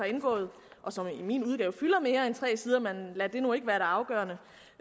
indgået og som i min udgave fylder mere end tre sider men lad nu ikke det afgørende